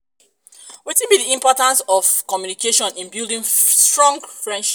wetin be di importance of communication in building strong friendship?